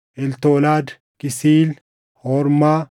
Eltolaad, Kisiil, Hormaa,